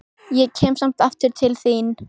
Ég kem samt aftur til þín.